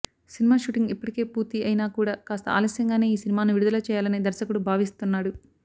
cinema shooting ఇప్పటికే పూర్తి అయినా కూడా కాస్త ఆలస్యంగానే ఈ సినిమాను విడుదల చేయాలని దర్శకుడు భావిస్తున్నాడు